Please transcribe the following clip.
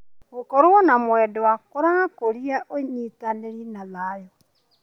Gũkorwo na mwendwa kũrakũria ũnyitani na thayũ.